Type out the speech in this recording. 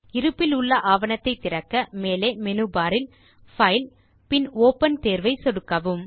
இருப்பிலுள்ள ஆவணத்தை திறக்க மேலே மெனுபர் இல் பைல் பின் ஒப்பன் தேர்வை சொடுக்கவும்